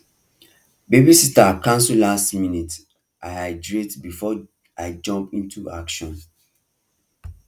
babysitter cancel last minute i hydrate before i jump into action